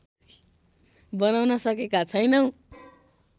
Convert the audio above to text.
बनाउन सकेका छैनौँ